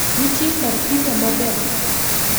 Ntie kar pizza maber kaa?